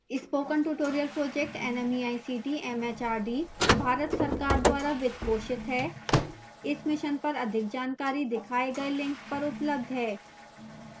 spoken tutorial project nmeict mhrd Bharat सरकार द्वारा वित्त पोषित है इस मिशन पर अधिक जानकारी दिखाए गए लिंक पर उपलब्ध है